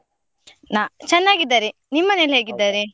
ನಾ ಚೆನ್ನಾಗಿದ್ದಾರೆ, ನಿಮ್ಮ ಮನೆಯಲ್ಲಿ ಹೇಗಿದ್ದಾರೆ?